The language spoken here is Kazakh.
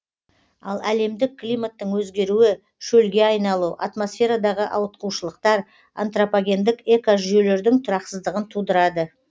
ал әлемдік климаттың өзгеруі шөлге айналу атмосферадағы ауытқушылықтар антропогендік экожүйелердің тұрақсыздығын тудырады